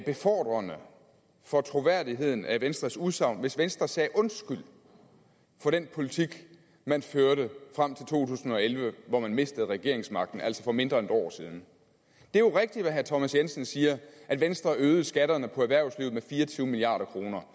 befordrende for troværdigheden af venstres udsagn hvis venstre sagde undskyld for den politik man førte frem til to tusind og elleve hvor man mistede regeringsmagten altså for mindre end et år siden det er jo rigtigt hvad herre thomas jensen siger at venstre øgede skatterne på erhvervslivet med fire og tyve milliard kroner